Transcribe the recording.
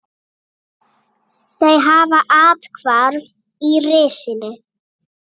Þau hafa athvarf í risinu.